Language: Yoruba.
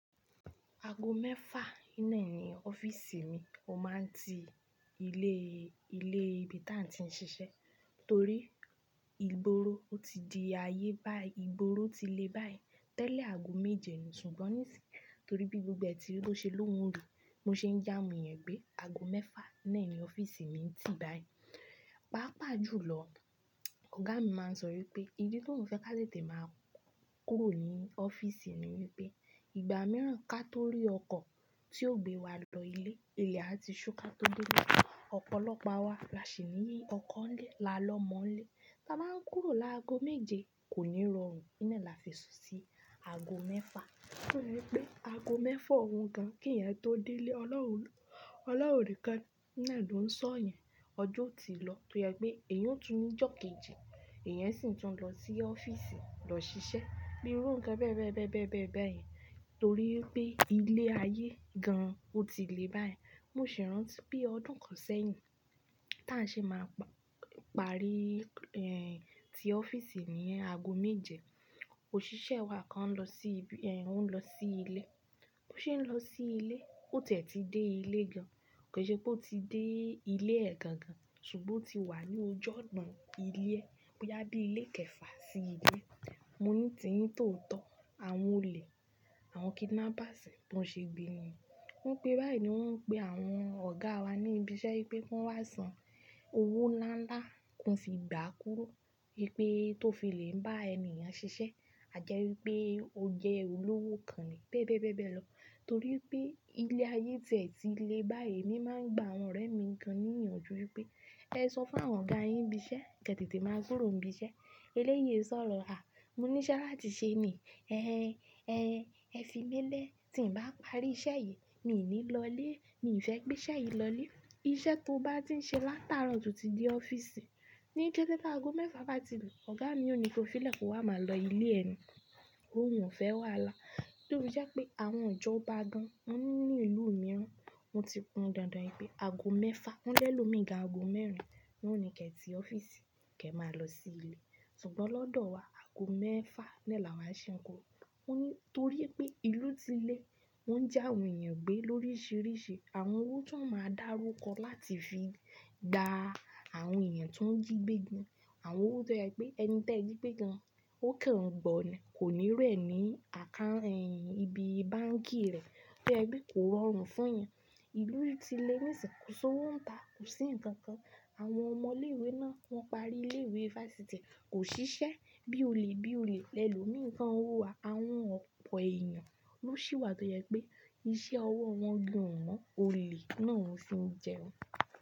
Aago mẹ́fà nínà ní office mi. Ó máa ń ti ilé, ilé ibi táà tí ń ṣiṣẹ́ torí ìgboro ó ti di ayé báyìí, ìgboro ti lé báyìí tẹ́lẹ̀ aago méje nì, ṣùgbọ́n níìsín torí bí gbogbo ẹti ló ṣe lóhùn ri, mo ṣe ń ji awon eeyan jé aago mẹ́fà náà ní office mi ti báayìí. Pàápàá jùlọ, ọ̀gá mi máa ń sọ wípé ìdí tó ń fẹ́ ká tètè máa kúrò ní office ni wípé ìgbà mìíràn kátórí ọkọ̀ tí ó gbé wa lọ ilé, ilẹ̀ ati ṣúká tó Délé. Ọ̀pọ̀lọpọ̀ wa là sì ní ọkọ̀ ń lé, là lọ mọ́ń lé. Ta bá ń kúrò láago méje kò ní rọrùn, nínà là fi sọ sí aago mẹ́fà. Ó yẹ pé aago mẹ́fà òun gan kí ènìyàn tó délé. Ọlọ́run, ọlọ́run ni kan náà ló ń sọ yan, ọjọ́ ti lọ tó yẹ pé èyan ó tún ní ìjọ́ kejì, èyẹn sì tún lọ sí office lọ ṣiṣẹ́ bí iru kan bẹ́ẹ̀ bẹ́ẹ̀ bẹ́ẹ̀ bẹ́ẹ̀ bẹ́ẹ̀ báyìn torí pé ilé ayé gan an ó ti lé báyìí. Mo sì rántí bí ọdún kan sẹ́yìn táà ṣe máa pa, parí, ẹ́, ti office ní aago méje, òṣìṣẹ́ wa kan lọ sí ibi ẹ́ n ó lọ sí ilé. Bí ó ṣe ń lọ sí ilé, ó tẹ̀ tí dé ilé gan an. Kò ṣe pé ó ti dé ilé ẹ gan gan ṣùgbọ́ ó ti wà ní ojọ́ ọ̀nà ilé ẹ. Ó yá bí ilé kẹ̀fà sí ilé. Mo ní ti ń tòótọ́, àwọn olè, àwọn kidnappers bi wọ́n ṣe gbé nu wón gbé báyìí ni wọ́n ń pe àwọn ọ̀gá wa ní ibi iṣẹ́ wípé wọ́n wá san owó ńlá ńlá kí wọ́n sì gba kúrò wípé tó fi lè ń bá ènìyàn ṣiṣẹ́. A jẹ́ wípé o jẹ́ olówó kan ni bẹ́ẹ̀ bẹ́ẹ̀ bẹ́ẹ̀ lọ torí pé ilé ayé tẹ̀ tí lé báyìí. Mi máa ń gba àwọn ọ̀rẹ́ mi kan níyànjú wípé ẹ sọ fún àwọn ọ̀gá yin ní ibi iṣẹ́ kí ẹ tètè máa kúrò ní ibi iṣẹ́. Eléyìí sọ̀rọ̀ Mo ní lá láti ṣe ni, "Ẹ́ ẹ́ ẹ́ ẹ fi mélẹ́, tí ń bá parí iṣẹ́ yìí, míì ní lọlé, míì fẹ́ gbé iṣẹ́ yìí lọlé. Iṣẹ́ tó bá ti ń ṣe látaro to ti dé office." Ni kẹ́tẹ́kẹ́tẹ́ aago mẹ́fà bá ti gùn, ọ̀gá mi ò ní to filẹ̀ kó wá máa lọ ilé ẹni, ó wù ú fẹ́ wá là. Tofí jẹ́ pé àwọn ìjọba gan an wọ́n ní ìlú mìíràn, wọ́n ti hun dandan wípé aago mẹ́fà. Wọ́n lé lo mìíràn aago mẹ́rin ni wọ́n ní kí ẹ ti ọ́fíìsì kí ẹ máa lọ sí ilé. Ṣùgbọ́n lọ́dọ̀ wa aago mẹ́fà náà là wá ṣe ń kúrò. Mo ní torí pé ìlú ti lé, wọ́n ń já àwọn èèyàn gbé lóríṣiríṣi. Àwọn owó tún máa ń dá rúkọ láti fi dá àwọn èèyàn tó ń jí gbé gan an. Àwọn owó tó yẹ pé ẹni tẹ́ẹ̀ jí gbé gan an ó kan gbọ̀n ni kò ní iru ní account ẹyin ibi báǹkì rẹ̀. Tó yẹ pé kò rọrùn fún èèyàn. Ìlú ti lé níìsín, kò sí owó ń ta, kò sí nǹkan kan. Àwọn ọmọ ilé ìwé náà wọ́n parí ilé ìwé versity kò ṣiṣẹ́ bí olè bí olè lẹ lómi kan owó wa. Àwọn ọ̀pọ̀ èèyàn ló ṣìwà tó jẹ pé iṣẹ́ ọwọ́ wọn gan o ma. Olè náà ń fi jẹ ọ́un.